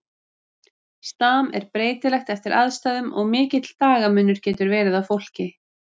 Stam er breytilegt eftir aðstæðum og mikill dagamunur getur verið á fólki.